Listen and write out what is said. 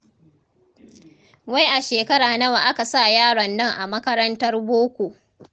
Wai a shekara nawa aka sa yaron nan a makarantar boko?